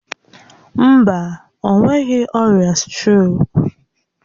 Mba, o nweghị ọrịa strok.